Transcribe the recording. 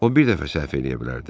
O bir dəfə səhv eləyə bilərdi.